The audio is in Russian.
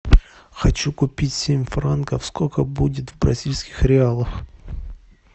хочу купить семь франков сколько будет в бразильских реалах